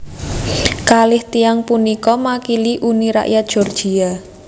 Kalih tiyang punika makili Uni Rakyat Georgia